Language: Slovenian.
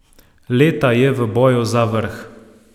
Leta je v boju za vrh.